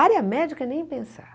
Área médica, nem pensar.